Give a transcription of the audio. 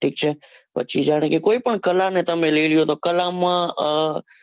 ઠીક છે પછી જેમ કે કોઈ પણ colour ને તમે લઇ લ્યો તો colour માં,